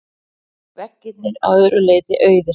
Veggirnir að öðru leyti auðir.